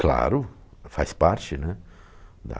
Claro, faz parte, né, da